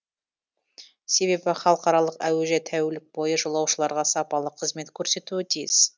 себебі халықаралық әуежай тәулік бойы жолаушыларға сапалы қызмет көрсетуі тиіс